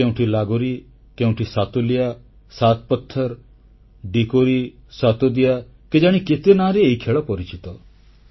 କେଉଁଠି ଲାଗୋରି କେଉଁଠି ସାତୋଲିଆ ସାତ୍ ପଥ୍ଥର ଡିକୋରୀ ସତୋଦିଆ କେଜାଣି କେତେ ନାଁରେ ଏହି ଖେଳ ପରିଚିତ